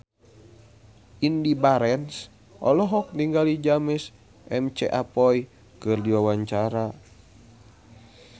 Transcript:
Indy Barens olohok ningali James McAvoy keur diwawancara